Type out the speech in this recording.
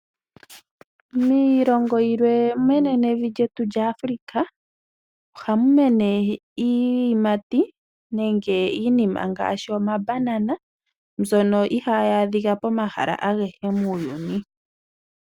Miilongo yilwe menenevi lyetu lyaAfrika, oha mu mene iiyimati ngaashi omabanana, mbyono ihaayi adhika pomahala agehe muuyuni.